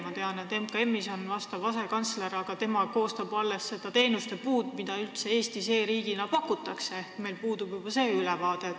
Ma tean, et MKM-is on vastav asekantsler, aga tema koostab alles nende teenuste puud, mida üldse Eestis kui e-riigis pakutakse – meil puudub isegi selline ülevaade.